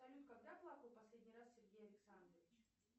салют когда плакал последний раз сергей александрович